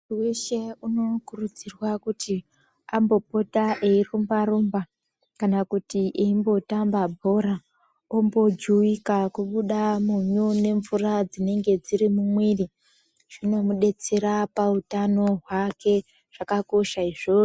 Muntu weshe unokurudzirwa kuti ambopote eirumba rumba kana kuti eimbotamba bhora ombojuwika kubuda munyu nemvura dzinenge dziri mumuviri zvinomudetsera pahutano hwake zvakakosha izvozvo.